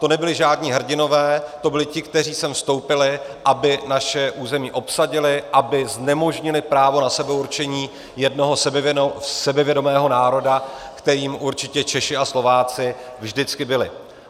To nebyli žádní hrdinové, to byli ti, kteří sem vstoupili, aby naše území obsadili, aby znemožnili právo na sebeurčení jednoho sebevědomého národa, kterým určitě Češi a Slováci vždycky byli.